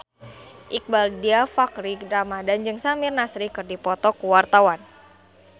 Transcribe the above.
Iqbaal Dhiafakhri Ramadhan jeung Samir Nasri keur dipoto ku wartawan